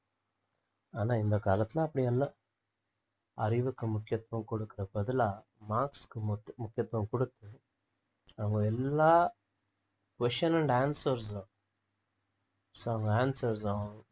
ஆனா இந்த காலத்துல அப்படி அல்ல அறிவுக்கு முக்கியத்துவம் கொடுக்கிற பதிலா marks க்கு முக்கி~ முக்கியத்துவம் கொடுத்து அவங்க எல்லா question and answers so answers தான்